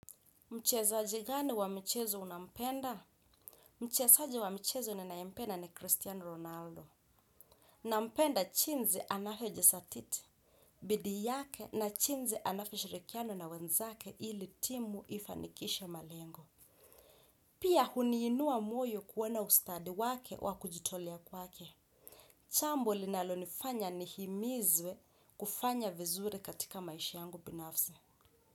Mchezaji gani wa michezo unampenda? Mchezaji wa michezo ninayempenda ni Cristiano Ronaldo. Nampenda jinsi anavyojizatiti. Bidii yake na jinsi anavyoshirikiana na wenzake ili timu ifanikishe malengo. Pia huniinua moyo kuona ustadi wake wa kujitolea kwake. Jambo linalonifanya nihimizwe kufanya vizuri katika maisha yangu binafsi.